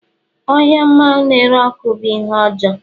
ohia mmanwu na-ere ọkụ bụ ihe ọjọọ